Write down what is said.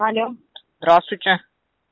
алло здравствуйте